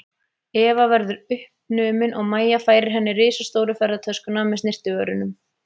Eva verðu uppnumin og Mæja færir henni risastóru ferðatöskuna með snyrtivörunum.